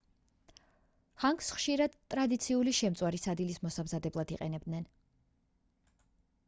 ჰანგს ხშირად ტრადიციული შემწვარი სადილის მოსამზადებლად იყენებენ